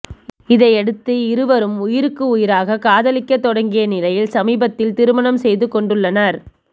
இதையடுத்து இருவரும் உயிருக்கு உயிராக காதலிக்க தொடங்கிய நிலையில் சமீபத்தில் திருமணம் செய்து கொண்டுள்ளனர்